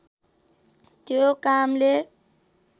त्यो कामले